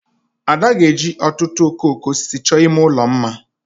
Ada ga-eji ọtụtụ okooko osisi chọọ ime ụlọ mma mma